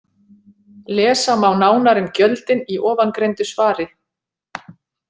Lesa má nánar um gjöldin í ofangreindu svari.